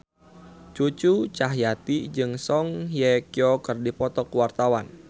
Cucu Cahyati jeung Song Hye Kyo keur dipoto ku wartawan